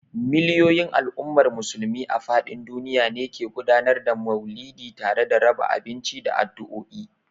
Miliyoyin al’ummar Musulmi a fadin duniya ne ke gudanar da Mauludi tare da raba abinci da addu'o'i.